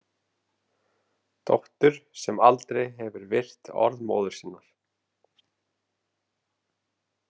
Dóttur sem aldrei hefur virt orð móður sinnar.